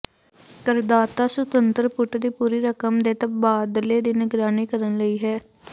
ਕਰਦਾਤਾ ਸੁਤੰਤਰ ਪੁਟ ਦੀ ਪੂਰੀ ਰਕਮ ਦੇ ਤਬਾਦਲੇ ਦੀ ਨਿਗਰਾਨੀ ਕਰਨ ਲਈ ਹੈ